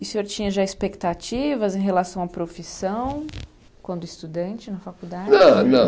E o senhor tinha já expectativas em relação à profissão quando estudante na faculdade? Não, não